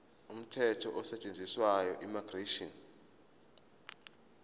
umthetho osetshenziswayo immigration